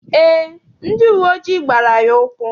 Eé, ndị uwe ojii gbara ya ụkwụ.